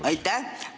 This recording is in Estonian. Aitäh!